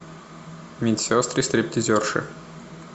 медсестры стриптизерши